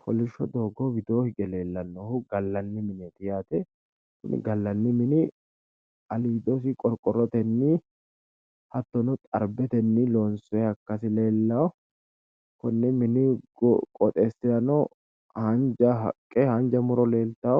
Kolosho doogo widooni hige leellanohu gallanni mineti qorqorote loonsoniho gatesinni haanja muro no